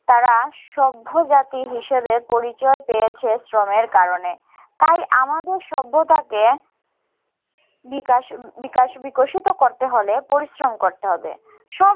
তারা সভ্য জাতি হিসেবে পরিচয় পেয়েছে শ্রমের কারণে। তাই আমাদের সভ্যতাকে বিকাশ বিকাশ বিকশিত করতে হলে পরিশ্রম করতে হবে। সব